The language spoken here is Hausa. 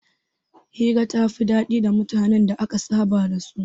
Hira ta fi daɗi da mutanen da aka saba da su